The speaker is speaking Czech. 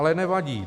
Ale nevadí.